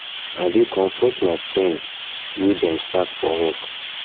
i dey comfort my friend my friend wey dem sack for work